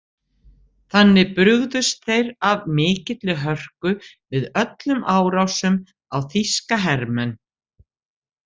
Þannig brugðust þeir af mikilli hörku við öllum árásum á þýska hermenn.